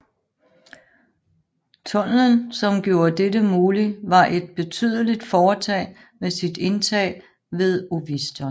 Tunnelen som gjorde dette mulig var et betydelig foretag med sit indtag ved Oviston